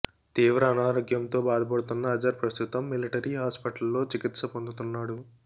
తీవ్ర అనారోగ్యంతో బాధపడుతున్న అజర్ ప్రస్తుతం మిలిటరీ హాస్పిటల్లో చికిత్స పొందుతున్నాడు